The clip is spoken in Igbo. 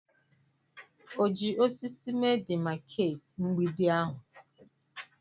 O ji osisi mee demakeeti mgbidi ahụ?